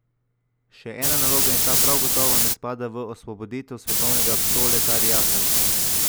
Še ena naloga, in ta prav gotovo ne spada v osvoboditev svetovnega proletariata.